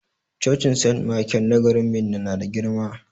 Cocin sent maikel na garin Minna na da girma.